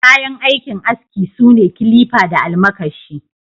Kayan aikin aski sune kilifa da almakashi.